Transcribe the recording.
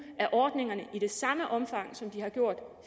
af ordningerne i det samme omfang som de